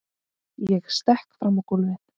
Ég stekk fram á gólfið.